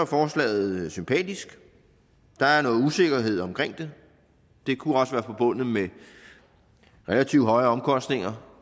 forslaget sympatisk der er noget usikkerhed omkring det det kunne også være forbundet med relativt høje omkostninger